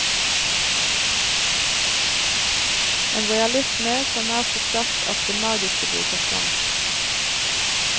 En realisme som er så sterk at det magiske bryter fram.